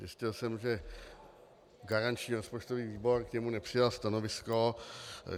Zjistil jsem, že garanční rozpočtový výbor k němu nepřijal stanovisko.